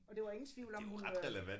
Og der var ingen tvivl om hun øh